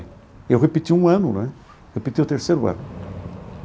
Eu repeti um ano né, repeti o terceiro ano.